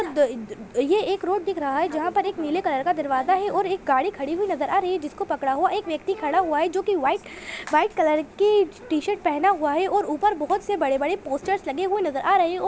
the द ये एक रोड दिख रहा है जहाँ पर एक नीले कलर का दरवाजा है और एक गाड़ी खड़ी हुई नजर आ रही है जिसको पकड़ा हुआ एक व्यक्ति खड़ा हुआ है जो की वाइट वाइट कलर की टी-शर्ट पहना हुआ है और ऊपर बहोत से बड़े-बड़े पोस्टर्स लगे हुए नजर आ रहे हैं और --